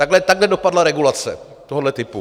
Takhle dopadla regulace tohoto typu.